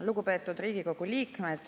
Lugupeetud Riigikogu liikmed!